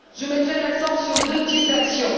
Je mettrai l'accent sur deux types d'action.